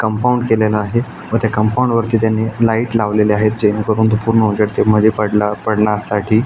Compound केलेलं आहे व त्या कंपाऊंड वरती त्यांनी लाइट लावलेल्या आहेत जेने करून तो पूर्ण उजेड ते मध्ये पड पडण्यासाठी.